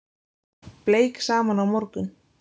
Bleik saman á morgun